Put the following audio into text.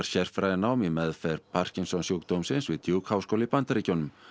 sérfræðinám í meðferð Parkinsons sjúkdómsins við háskóla í Bandaríkjunum